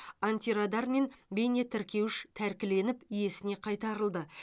антирадар мен бейнетіркеуіш тәркіленіп иесіне қайтарылды